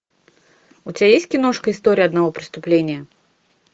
у тебя есть киношка история одного преступления